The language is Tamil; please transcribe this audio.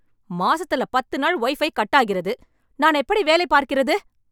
மாசத்துல பத்து நாள் வைபை கட் ஆகிறது. நான் எப்படி வேலை பார்க்கிறது?